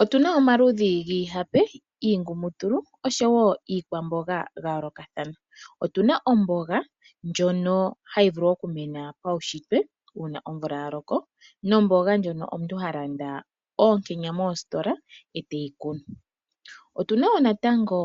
Otuna omaludhi giihape ,giingumutulu oshowo iikwamboga ya yoolokathana. Otuna omboga ndjono hayi vulu okumena pawushitwe uuna omvula ya loko, nomboga ndjono omuntu ha landa oonkenya moositola eteyi kunu. otuna woo natango